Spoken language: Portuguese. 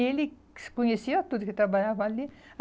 E ele conhecia tudo que trabalhava ali.